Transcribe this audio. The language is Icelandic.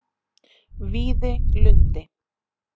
Víðilundi